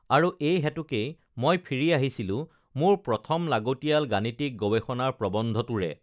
আৰু এই হেতুকেই মই ফিৰি আহিছিলোঁ মোৰ প্ৰথম লাগতিয়াল গাণিতিক গৱেষণাৰ প্ৰৱন্ধটোৰে